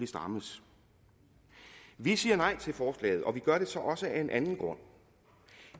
strammes vi siger nej til forslaget og vi gør det så også af en anden grund